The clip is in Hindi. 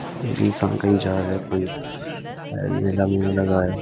इँसान कहीं जा रहा है फन मेला मुला लगा है।